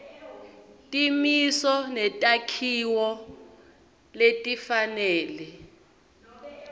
timiso netakhiwo letifanele